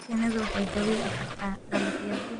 Shinnidu waxay dhaawici kartaa dalagyada.